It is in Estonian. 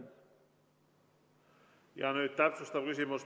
Ja nüüd täpsustav küsimus.